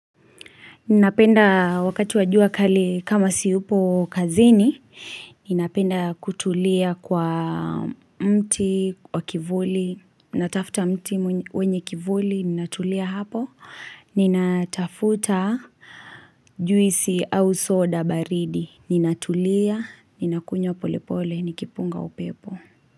Ninapenda wakati wa jua kali kama siupo kazini, ninapenda kutulia kwa mti wa kivuli, natafuta mti wenye kivuli, ninatulia hapo, ninatafuta juisi au soda baridi, ninatulia, ninakunywa pole pole, nikipunga upepo.